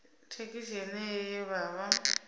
thekhisi yeneyo ye vha vha